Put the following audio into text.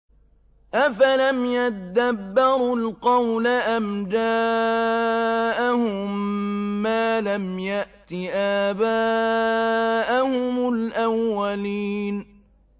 أَفَلَمْ يَدَّبَّرُوا الْقَوْلَ أَمْ جَاءَهُم مَّا لَمْ يَأْتِ آبَاءَهُمُ الْأَوَّلِينَ